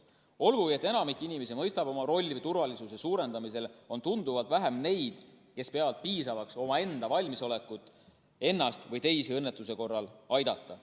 Olgugi, et enamik inimesi mõistab oma rolli turvalisuse suurendamisel, on tunduvalt vähem neid, kes peavad piisavaks omaenda valmisolekut ennast või teisi õnnetuse korral aidata.